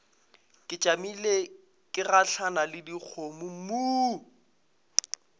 tšamile ke gahlana le dikgomommuu